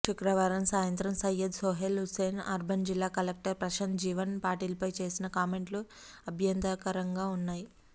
శుక్రవారం సాయంత్రం సయ్యద్ సోహెల్ హుస్సెన్ అర్బన్ జిల్లా కలెక్టర్ ప్రశాంత్ జీవన్ పాటిల్పై చేసిన కామెంట్లు అభ్యంతరకరంగా ఉన్నాయి